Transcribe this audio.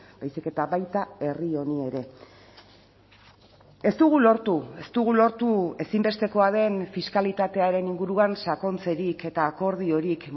baizik eta baita herri honi ere ez dugu lortu ez dugu lortu ezinbestekoa den fiskalitatearen inguruan sakontzerik eta akordiorik